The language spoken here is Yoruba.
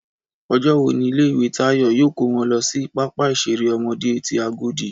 Ọjọ́ wo ni ilé ìwé Táyọ̀ yóò kó wọn lọ sí pápá ìṣeré ọmọdé ti Agodi